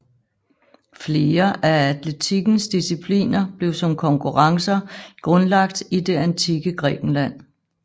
Flere af atletikkens discipliner blev som konkurrencer grundlagt i det antikke Grækenland